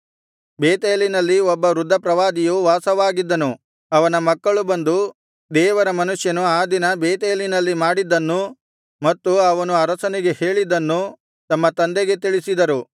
ಬೇತೇಲಿನಲ್ಲಿ ಒಬ್ಬ ವೃದ್ಧ ಪ್ರವಾದಿಯು ವಾಸವಾಗಿದ್ದನು ಅವನ ಮಕ್ಕಳು ಬಂದು ದೇವರ ಮನುಷ್ಯನು ಆ ದಿನ ಬೇತೇಲಿನಲ್ಲಿ ಮಾಡಿದ್ದನ್ನೂ ಮತ್ತು ಅವನು ಅರಸನಿಗೆ ಹೇಳಿದ್ದನ್ನೂ ತಮ್ಮ ತಂದೆಗೆ ತಿಳಿಸಿದರು